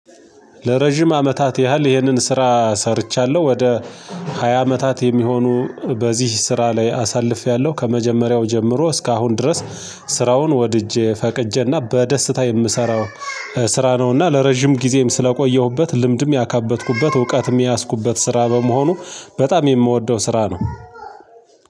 ለረጅም አመታት ያህል ይህንን ስራ ሰርቻለሁ ወደ ሃያ አመታት የሚሆኑ በዚህ ስራ ላይ አሳልፌያለሁ ከመጀመሪያው ጀምሮ እስካሁን ድረስ ስራውን ወድጄ ፈቅጄና በደስታ የምሰራው ስራ ነው እና ለረጅም ጊዜም ስለቆየሁበት ልምድም ያካበትኩበት እውቀትም የያዝኩበት ስራ በመሆኑ በጣም የምወደው ስራ ነው።